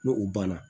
N'o u banna